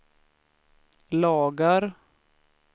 lagar